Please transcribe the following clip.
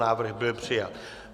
Návrh byl přijat.